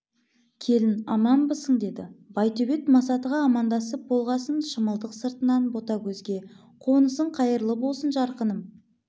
келін аманбысың деді байтөбет масатыға амандасып болғасын шымылдық сыртынан ботагөзге қонысың қайырлы болсын жарқыным